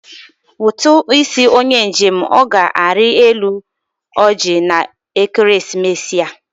Ụtụ isi onye njem ọ ga-arị elu oji na ekeresimesi a?